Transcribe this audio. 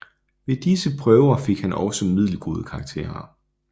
Ved disse prøver fik han også middelgode karakterer